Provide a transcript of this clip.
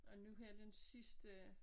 Og nu her den sidste